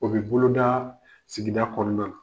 O bɛ boloda sigida kɔnɔna na.